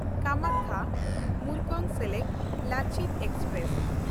ᱠᱟᱢᱟᱠᱠᱷᱟ–ᱢᱩᱨᱠᱚᱝᱥᱮᱞᱮᱠ Lachit express